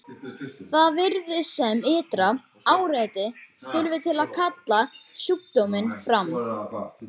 Það virðist sem ytra áreiti þurfi til að kalla sjúkdóminn fram.